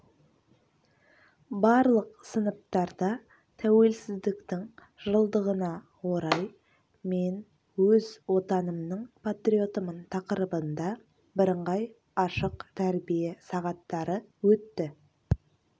барлық сыныптарда тәуелсіздіктің жылдығына орай мен өз отанымның патриотымын тақырыбында бірыңғай ашық тәрбие сағаттары өтті